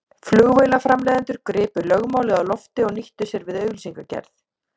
Flugvélaframleiðendur gripu lögmálið á lofti og nýttu sér við auglýsingagerð.